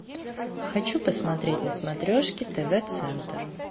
хочу посмотреть на смотрешке тв центр